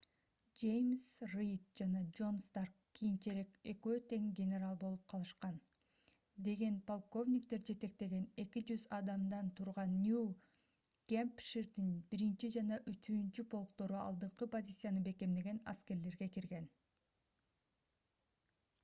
жеймс рид жана джон старк кийинчерээк экөө генерал болуп калышкан деген полковниктер жетектеген 200 адамдан турган нью-гэмпширдин 1 жана 3-полктору алдыңкы позицияны бекемдеген аскерлерге кирген